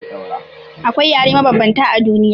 Akwai yare mabanbanta a duniya.